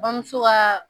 Bamuso kaa